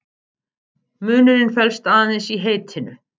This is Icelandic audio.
Munurinn felst aðeins í heitinu.